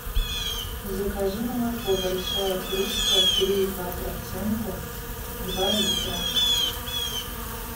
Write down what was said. закажи молоко большая кружка три и два процента два литра